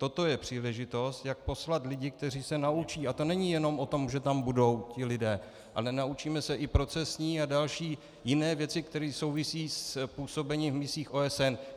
Toto je příležitost, jak poslat lidi, kteří se naučí - a to není jenom o tom, že tam budou ti lidé, ale naučíme se i procesní a další jiné věci, které souvisejí s působením v misích OSN.